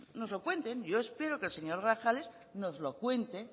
nos lo cuenten yo espero que el señor grajales nos lo cuente